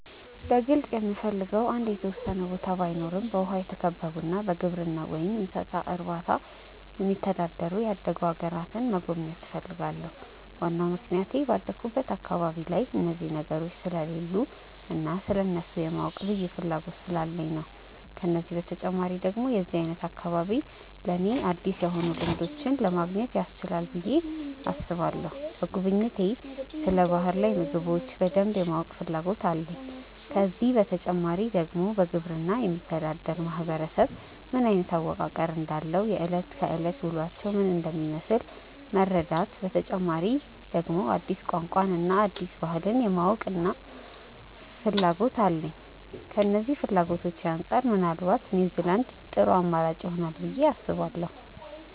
በግልጽ የምፈልገው አንድ የተወሰነ ቦታ ባይኖረም በውሃ የተከበቡና በግብርና ወይም እንስሳት እርባታ የሚተዳደሩ ያደጉ አገራትን መጎብኘት እፈልጋለሁ። ዋናው ምክንያቴ ባደኩበት አካባቢ ላይ እነዚህ ነገሮች ስለሌሉ እና ስለእነሱ የማወቅ ልዩ ፍላጎት ስላለኝ ነው። ከዚህ በተጨማሪ ደግሞ የዚህ አይነት አካባቢ ለኔ አዲስ የሆኑ ልምዶችን ለማግኘት ያስችለናል ብዬ አስባለሁ። በጉብኝቴ ስለ ባህር ላይ ምግቦች በደንብ የማወቅ ፍላጎት አለኝ። ከዚህ በተጨማሪ ደግሞ በግብርና የሚተዳደር ማህበረሰብ ምን አይነት አወቃቀር እንዳለው፣ የእለት ከእለት ውሎአቸው ምን እንደሚመስል መረዳት፤ በተጨማሪ ደግሞ አዲስ ቋንቋን እና አዲስ ባህልን የማወቅና ፍላጎት አለኝ። ከነዚህ ፍላጎቶቼ አንጻር ምናልባት ኒውዝላንድ ጥሩ አማራጭ ይሆናል ብዬ አስባለሁ።